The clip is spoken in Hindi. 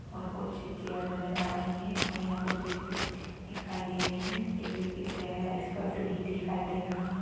और कुछ चेअर नजर आ रही है और यहा कूछ व्यक्ती दिखाई दे रहे है। एक व्यक्ती का चेहरा स्पष्ट नही दिखाई दे रहा है।